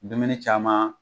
Dumuni caman